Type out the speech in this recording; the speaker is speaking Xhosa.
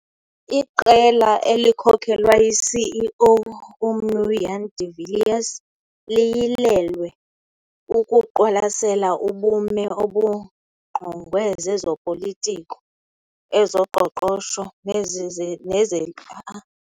Iqela elikhokelwa yiCEO, uMnu Jannie de Villiers, liyilelwe ukuqwalasela ubume obungqongwe zezopolitiko, ezoqoqosho nezize neze